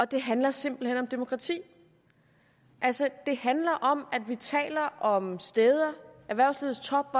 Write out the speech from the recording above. det handler simpelt hen om demokrati det handler om at vi taler om steder erhvervslivets top